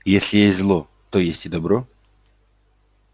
если есть зло то есть и добро